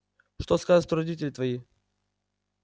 что скажут родители твои